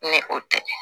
Ni o tɛ